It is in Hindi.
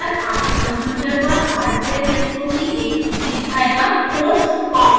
device manager आपके कंप्यूटर पर हार्डवेयर यंत्रों की एक सूची दिखाएगा